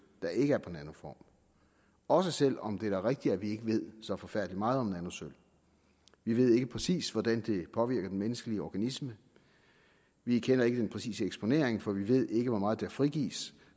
der ikke er på nanoform også selv om det da er rigtigt at vi ikke ved så forfærdelig meget om nanosølv vi ved ikke præcis hvordan det påvirker den menneskelige organisme vi kender ikke den præcise eksponering for vi ved ikke hvor meget der frigives